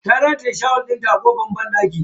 Ta rataye shawul dinta a kan kofan banɗakin.